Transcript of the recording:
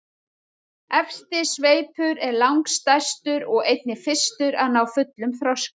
Efsti sveipur er langstærstur og einnig fyrstur að ná fullum þroska.